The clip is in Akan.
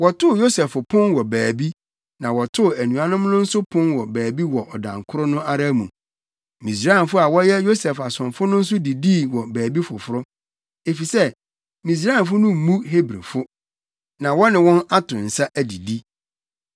Wɔtoo Yosef pon wɔ baabi, na wɔtoo anuanom no nso pon wɔ baabi wɔ ɔdan koro no ara mu. Misraimfo a wɔyɛ Yosef asomfo no nso didii wɔ baabi foforo, efisɛ Misraimfo no mmu Hebrifo, na wɔne wɔn ato nsa adidi.